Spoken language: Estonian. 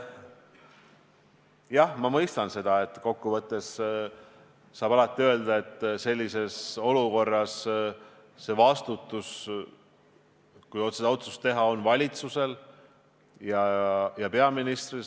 Jah, ma mõistan, et kokkuvõttes saab alati öelda, et sellises olukorras on vastutus otsuse tegemisel valitsusel ja peaministril.